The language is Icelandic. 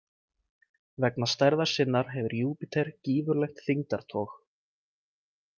Vegna stærðar sinnar hefur Júpíter gífurlegt þyngdartog.